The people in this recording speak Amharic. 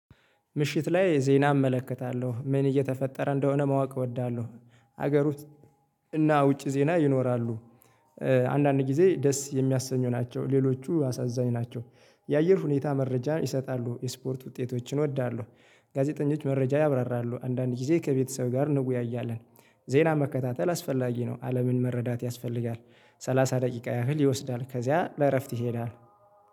ምሽት ላይ ዜና እመለከታለሁ። ምን እየተፈጠረ እንደሆነ ማወቅ እወዳለሁ። ሀገር ውስጥ እና ውጪ ዜና ይኖራሉ። አንዳንድ ጊዜ ደስ የሚያሰኙ ናቸው። ሌሎቹ አሳዛኝ ናቸው። የአየር ሁኔታ መረጃ ይሰጣሉ። የስፖርት ውጤቶችን እወዳለሁ። ጋዜጠኞች መረጃ ያብራራሉ። አንዳንድ ጊዜ ከቤተሰብ ጋር እንወያያለን። ዜና መከታተል አስፈላጊ ነው። አለምን መረዳት ያስፈልጋል። ሰላሳ ደቂቃ ያህል ይወስዳል። ከዚያ ለእረፍት ይሄዳል።